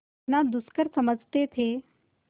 जितना दुष्कर समझते थे